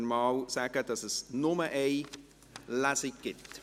Dann sagen wir, dass es nur eine Lesung gibt.